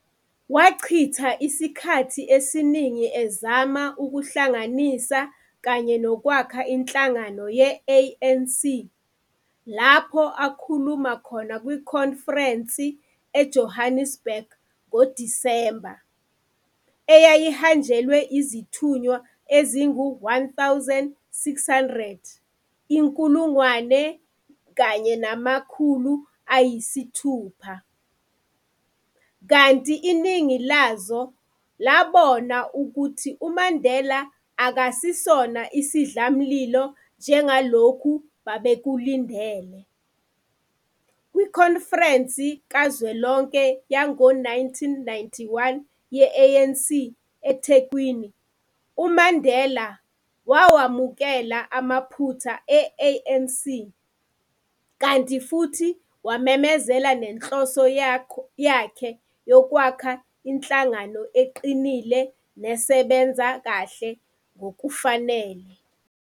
Wachitha isikhathi esiningi ezama ukuhlanganisa kanye nokwakha inhlangano ye-ANC, lapho akhuluma khona kwikhonferense eJohannesburg ngoDisemba, eyayihanjelwe zithunywa ezingu 1600, kanti iningi lazo labona ukuthi uMandela akasesona isidlamlilo njengalokho ababekulindele H. Kwikhonferense kazwelonke yango 1991 yeANC, eThekwini, uMandela wakwamukela amaphutha e-ANC kanti futhi wamemezela nenhloso yakho yokwakha inhlangano eqinile nesebenza kahle ngokufanele.